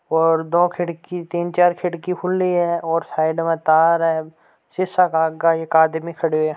और दो तिन चार खिड़की खुली है और साइड मे तार है सीसा का आगा एक आदमी खडियो है।